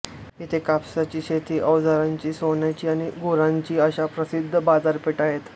इथे कापसाची शेती अवजारांची सोन्याची आणि गुरांची अशा प्रसिद्ध बाजारपेठा आहेत